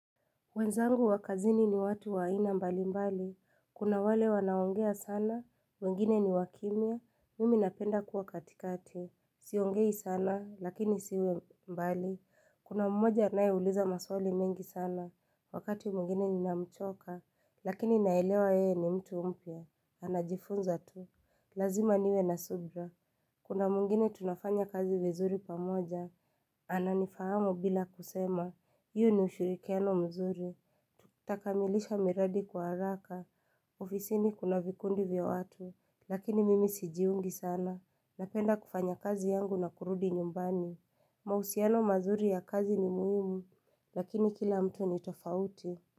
Wenzangu wakazini ni watu waina mbali mbali, kuna wale wanaongea sana, wengine ni wakimia, mimi napenda kuwa katikati, siongei sana lakini siwe mbali, kuna mmoja anae uliza maswali mingi sana, wakati mungine ni namchoka, lakini naelewa ye ni mtu umpya, anajifunza tu, lazima niwe na subra. Kuna mungine tunafanya kazi vizuri pamoja, ananifahamu bila kusema, iyo ni ushurikiano mzuri, takamilisha miradi kwa haraka, ofisini kuna vikundi vya watu, lakini mimi sijiungi sana, napenda kufanya kazi yangu na kurudi nyumbani, mausiano mazuri ya kazi ni muhimu, lakini kila mtu ni tofauti.